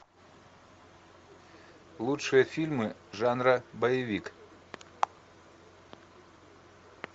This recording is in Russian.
лучшие фильмы жанра боевик